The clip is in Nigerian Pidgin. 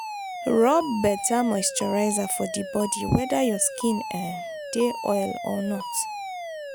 rub better moisturiser for di body weda your skin um dey oil or not